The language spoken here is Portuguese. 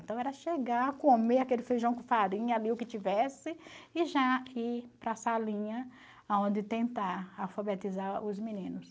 Então, era chegar, comer aquele feijão com farinha ali, o que tivesse, e já ir para a salinha aonde tentar alfabetizar os meninos.